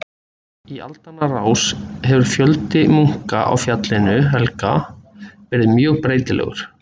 Í aldanna rás hefur fjöldi munka á Fjallinu helga verið mjög breytilegur.